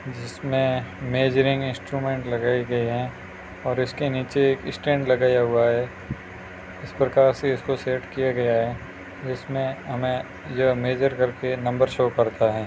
जिसमें measuring instrument लगाए गए हैं और इसके नीचे एक स्टैंड लगाया हुआ है इस प्रकार से इसको सेट किया गया है जिसमें हमें ये मेजर करके नंबर शो करता है।